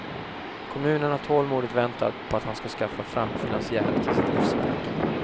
Kommunen har tålmodigt väntat på att han ska skaffa fram finansiärer till sitt livsverk.